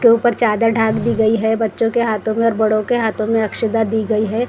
के ऊपर चादर ढाक दी गई है बच्चों के हाथों में और बड़ों के हाथों में दी गई है।